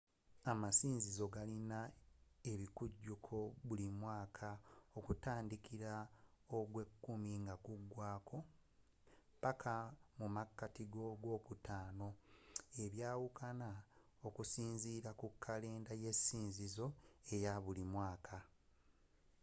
amasinzizo agasinga galina ebikujuko buli mwaaka okutandikila mu gw'ekumi nogumu nga gugwaako paka mu makati ga'ogwokutaano ebyawukana okusinziila ku kalenda y'esinzizo eyabulimwaaka